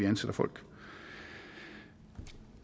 ansætter folk